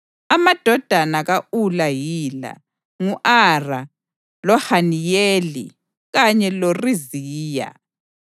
Amadodana ka-Ula yila: ngu-Ara, loHaniyeli kanye loRiziya.